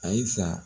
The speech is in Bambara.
Ayisa